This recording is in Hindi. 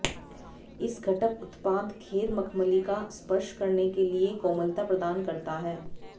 इस घटक उत्पाद घेर मख़मली का स्पर्श करने के लिए कोमलता प्रदान करता है